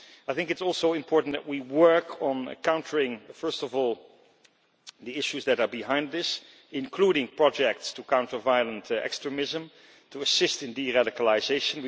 It is also important that we work on countering, first of all, the issues that are behind this, including projects to counter violent extremism and to assist in deradicalisation.